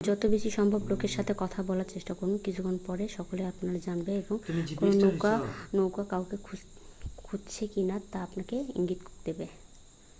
যত বেশি সম্ভব লোকের সাথে কথা বলার চেষ্টা করুন কিছুক্ষণ পরে সকলেই আপনাকে জানবে এবং কোনো নৌকা কাউকে খুঁজছে কিনা তা আপনাকে ইঙ্গিত দেবে